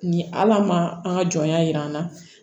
Ni ala ma an ka jɔnya jir'an na